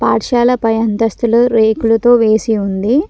పాఠశాల పై అంతస్తులో రేకులుతో వేసి ఉంది.